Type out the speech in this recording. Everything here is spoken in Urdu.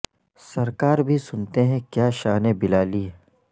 سرکار بھی سنتے ہیں کیا شان بلالی ہے